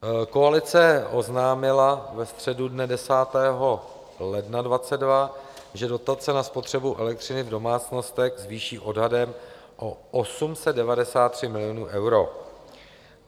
Koalice oznámila ve středu dne 10. ledna 2022, že dotace na spotřebu elektřiny v domácnostech zvýší odhadem o 893 miliony eur.